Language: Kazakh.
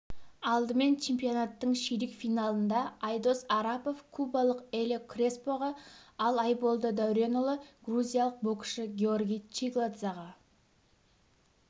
алдымен чемпионаттың ширек финалында айдос арапов кубалық элио креспоға ал айболды дәуренұлы грузиялық боксшы георгий чигладзаға